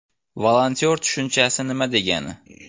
Volontyor tushunchasi nima degani?